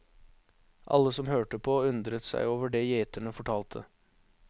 Alle som hørte på, undret seg over det gjeterne fortalte.